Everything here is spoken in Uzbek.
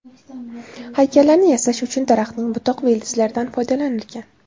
Haykallarni yasash uchun daraxtning butoq va ildizlaridan foydalanilgan.